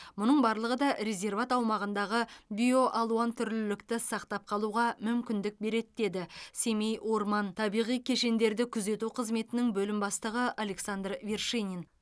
мұның барлығы да резерват аумағындағы биоалуантүрлілікті сақтап қалуға мүмкіндік береді деді семей орман табиғи кешендерді күзету қызметінің бөлім бастығы александр вершинин